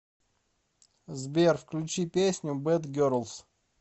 сбер включи песню бэд герлс